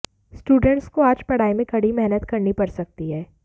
students को आज पढ़ाई में कड़ी मेहनत करनी पड़ सकती है